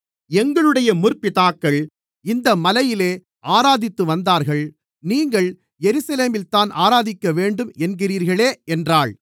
எங்களுடைய முற்பிதாக்கள் இந்த மலையிலே ஆராதித்துவந்தார்கள் நீங்கள் எருசலேமில்தான் ஆராதிக்கவேண்டும் என்கிறீர்களே என்றாள்